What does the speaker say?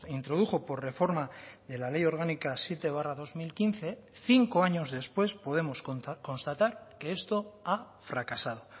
introdujo por reforma de la ley orgánica siete barra dos mil quince cinco años después podemos constatar que esto ha fracasado